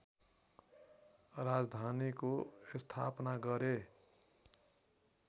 राजधानीको स्थापना गरे